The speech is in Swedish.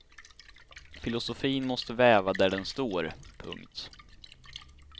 Filosofin måste väva där den står. punkt